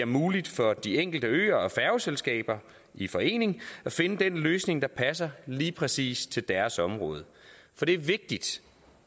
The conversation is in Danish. muligt for de enkelte øer og færgeselskaber i forening at finde den løsning der passer lige præcis til deres område for det er vigtigt